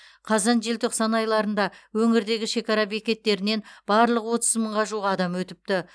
қазан желтоқсан айларында өңірдегі шекара бекеттерінен барлығы отыз мыңға жуық адам өтіпті